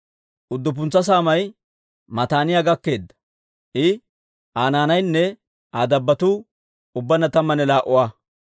Udduppuntsa saamay Mataaniyaa gakkeedda; I, Aa naanaynne Aa dabbotuu ubbaanna tammanne laa"a.